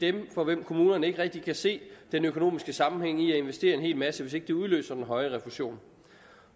er dem for hvem kommunerne ikke rigtig kan se den økonomiske sammenhæng i at investere i en hel masse hvis ikke det udløser den høje refusion